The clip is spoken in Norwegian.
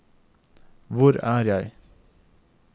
hvor er jeg